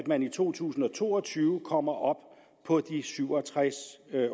man i to tusind og to og tyve kommer op på de syv og tres